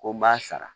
Ko n b'a sara